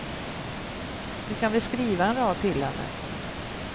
Du kan väl skriva en rad till henne.